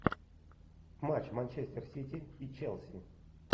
матч манчестер сити и челси